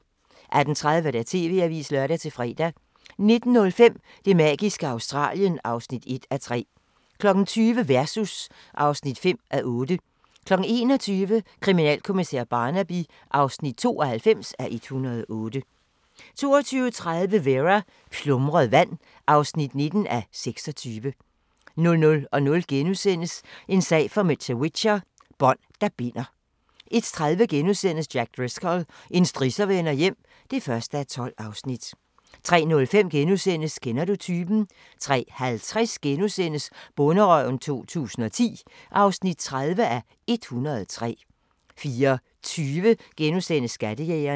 18:30: TV-avisen (lør-fre) 19:05: Det magiske Australien (1:3) 20:00: Versus (5:8) 21:00: Kriminalkommissær Barnaby (92:108) 22:30: Vera: Plumret vand (19:26) 00:00: En sag for mr. Whicher: Bånd, der binder * 01:30: Jack Driscoll – en strisser vender hjem (1:12)* 03:05: Kender du typen? * 03:50: Bonderøven 2010 (30:103)* 04:20: Skattejægerne *